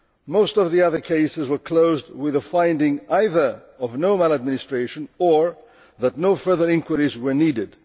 Most of the other cases were closed with a finding either of no maladministration or that no further inquiries were needed.